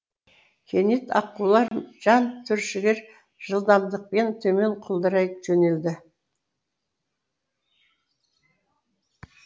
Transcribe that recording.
кенет аққулар жан түршігер жылдамдықпен төмен құлдырай жөнелді